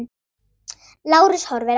Lárus horfir á.